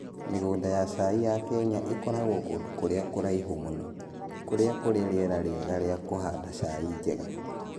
Mĩgũnda ya cai ya Kenya ĩkoragwo kũndũ kũrĩa kũraihu mũno, kũrĩa kũrĩ rĩera rĩega rĩa kũhanda chai njega.